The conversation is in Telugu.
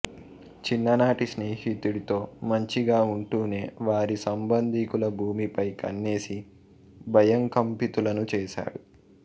చిన్ననాటి స్నేహితుడితో మంచిగా ఉంటూనే వారి సంబంధీకుల భూమిపై కన్నేసి భయకంపితులను చేశాడు